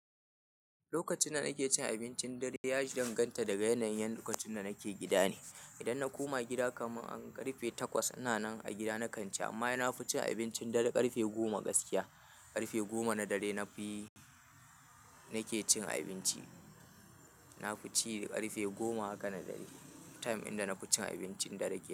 Lokacin da nake cin abincin dare ya danganta daga yanayin lokacin da nake gida ne. Idan na koma gida, kamar an karfe takwas ina nan a gida na kanci, amma ina fucin abincin dare karfe goma gaskiya. Karfe goma na dare na fi nake cin abinci. Na fu ci karfe goma haka na dare. Time din da nafi cin abincin dare kenan.